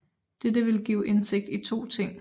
Dette vil give indsigt i to ting